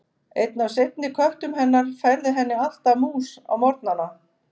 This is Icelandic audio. Einn af seinni köttum hennar færði henni alltaf mús á morgnana.